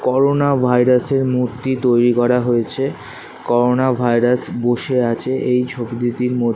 Corona virus -এর মূর্তি তৈরি করা হয়েছে করোনা ভাইরাস বসে আছে এই ছবি দু টির মধ্যে।